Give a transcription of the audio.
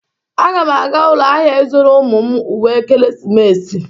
Aga m aga ụlọ ahịa ịzụrụ ụmụ m uwe ekeresimesi.